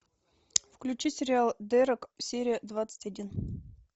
включи сериал дерек серия двадцать один